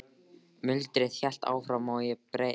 Muldrið hélt áfram og ég beið.